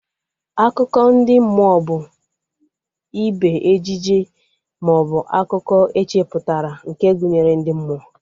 Akụkọ ndị mmụọ bụ ibe ejije maọbụ akụkọ echeputara nke gụnyere ndị mmụọ